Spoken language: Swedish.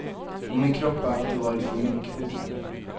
Och min kropp har alltid varit för mycket.